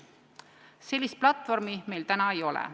Sellist platvormi meil täna ei ole.